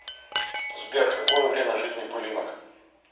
сбер какое время жизни пылинок